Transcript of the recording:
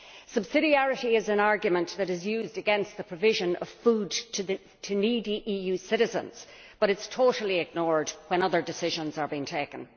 Subsidiarity is an argument that is used against the provision of food to needy EU citizens, but it is totally ignored when other decisions are being taken.